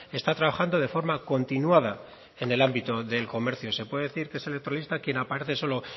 está trabajando de forma continuada en el ámbito del comercio se puede decir que es electoralista quien aparece solo